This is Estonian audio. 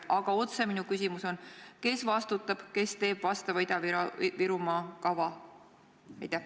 Aga minu otsene küsimus on see: kes vastutab, kes teeb vastava Ida-Virumaa kava?